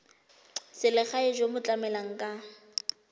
selegae jo bo tlamelang ka